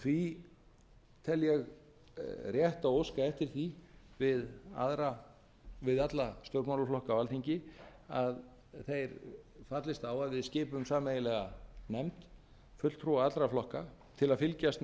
því tel ég rétt að óska eftir því við alla stjórnmálaflokka á alþingi að þeir fallist á að við skipum sameiginlega nefnd fulltrúa allra flokka til að fylgjast